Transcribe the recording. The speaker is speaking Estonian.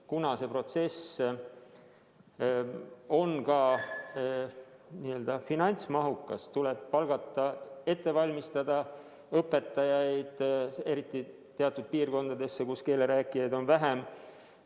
Kuna see protsess on finantsmahukas, tuleb ette valmistada õpetajaid, eriti teatud piirkondadesse, kus keele rääkijaid on vähem.